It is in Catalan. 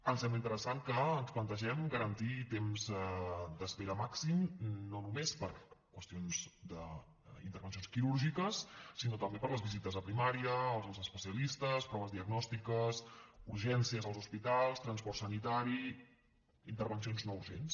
em sembla interessant que ens plantegem garantir temps d’espera màxims no només per a qüestions d’intervencions quirúrgiques sinó també per a les visites a primària als especialistes proves diagnòstiques urgències als hospitals transport sanitari intervencions no urgents